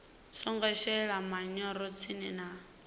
songo shelesa manyoro tsini na